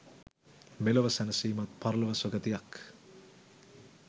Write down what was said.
මෙලොව සැනසීමත් පරලොව සුගතියක්